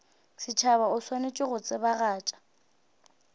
setšhaba o swanetše go tsebagatša